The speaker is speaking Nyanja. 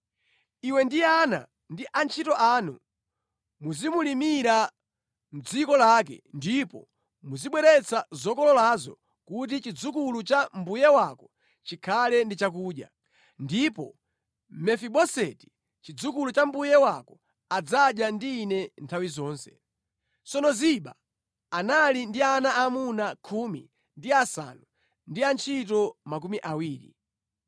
Iwe ndi ana ndi antchito anu muzimulimira mʼdziko lake ndipo muzibweretsa zokololazo kuti chidzukulu cha mbuye wako chikhale ndi chakudya. Ndipo Mefiboseti, chidzukulu cha mbuye wako adzadya ndi ine nthawi zonse.” (Tsono Ziba anali ndi ana aamuna khumi ndi asanu ndi antchito makumi awiri).